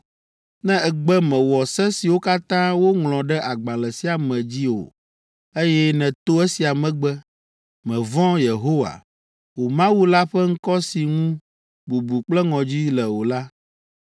“Ne ègbe mèwɔ se siwo katã woŋlɔ ɖe agbalẽ sia me dzi o, eye nèto esia me gbe, mèvɔ̃ Yehowa, wò Mawu la ƒe ŋkɔ si ŋu bubu kple ŋɔdzi le o la,